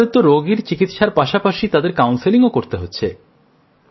আপনাদের তো রোগীর চিকিৎসার পাশাপাশি তাদের কাউন্সেলিংও করতে হচ্ছে